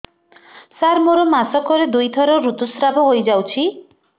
ସାର ମୋର ମାସକରେ ଦୁଇଥର ଋତୁସ୍ରାବ ହୋଇଯାଉଛି